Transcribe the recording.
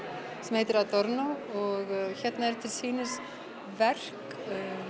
sem heitir Adorno og hérna eru til sýnis verk